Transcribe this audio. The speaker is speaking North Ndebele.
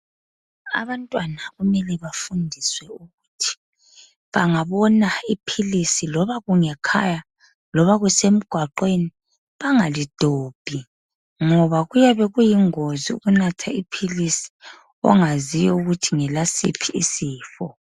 Abantwana kumele bafundiswe ukuthi bangabona iphilisi loba kungekhaya loba kusemgwaqweni bengalidobhi ngoba kuyabe kuyingozi ukunatha iphilisi ongaziyo ukuthi ngelasiphi isifo.